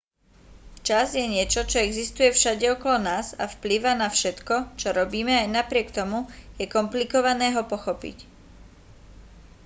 čas je niečo čo existuje všade okolo nás a vplýva na všetko čo robíme aj napriek tomu je komplikované ho pochopiť